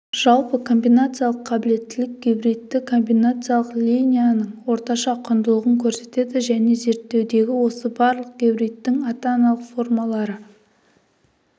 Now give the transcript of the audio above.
жалпы комбинациялық қабілеттілік гибридті комбинациялық линияның орташа құндылығын көрсетеді және зерттеудегі осы барлық гибридтің ата-аналық формалары